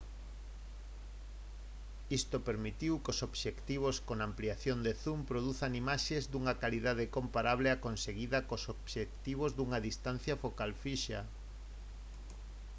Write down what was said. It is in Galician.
isto permitiu que os obxectivos con ampliación de zoom produzan imaxes dunha calidade comparable á conseguida con obxectivos cunha distancia focal fixa